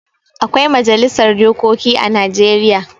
Akwai majalisar dokoki a Najeriya.